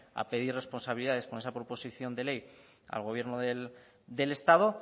a pedir responsabilidades con esa proposición de ley al gobierno del estado